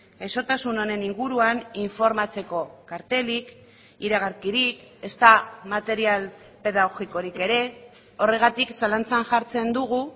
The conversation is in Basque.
gaixotasun honen inguruan informatzeko kartelik iragarkirik ezta material pedagogikorik ere horregatik zalantzan jartzen dugu